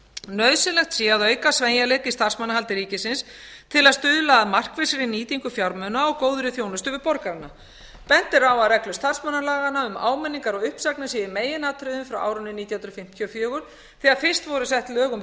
nauðsynlegt sé að auka sveigjanleika í starfsmannahaldi ríkisins til að stuðla að markvissri nýtingu fjármuna og góðri þjónustu við borgarana bent er á að reglur starfsmannalaganna um áminningar og uppsagnir séu í meginatriðum frá árinu nítján hundruð fimmtíu og fjögur þegar fyrst voru sett lög um